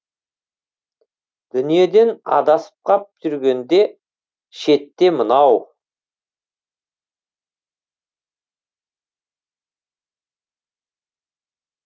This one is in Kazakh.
дүниеден адасып қап жүргенде шетте мынау